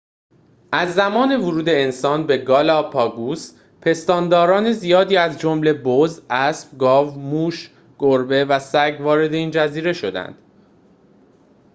از زمان ورود انسان به گالاپاگوس پستانداران زیادی از جمله بز اسب گاو موش گربه و سگ وارد این جزیره شدند